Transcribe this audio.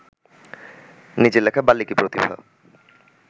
নিজের লেখা বাল্মীকিপ্রতিভা